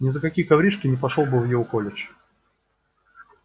ни за какие коврижки не пошёл бы в его колледж